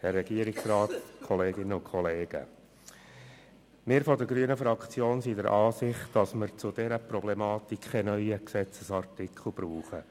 Wir von der grünen Fraktion sind der Ansicht, dass wir zu dieser Problematik keinen neuen Gesetzesartikel brauchen.